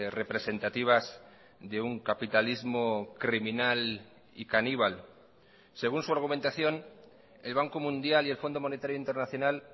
representativas de un capitalismo criminal y caníbal según su argumentación el banco mundial y el fondo monetario internacional